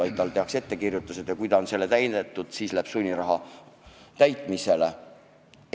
Direktorile tehakse ettekirjutus ja kui ta pole seda täitnud, siis läheb sunniraha maksmise korraldus täitmisele.